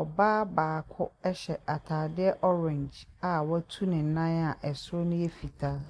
Ɔbaa baako hyɛ atadeɛ orange a watu ne nan a soro no yɛ fitaa.